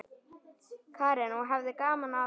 Karen: Og hafði gaman af?